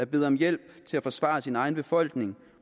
beder om hjælp til at forsvare sin egen befolkning